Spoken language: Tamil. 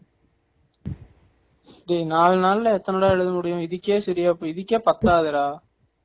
டேய் நாளு நாள்ல எத்தன டா எழுத முடியும் இதுக்கே செறியா போய் இதுக்கே பத்தாதேடா